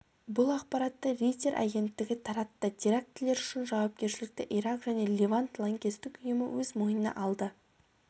бұл ақпаратты рейтер агенттігі таратты терактілер үшін жауапкершілікті ирак және левант лаңкестік ұйымы өз мойнына алды